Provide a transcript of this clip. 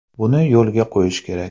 Buni yo‘lga qo‘yish kerak.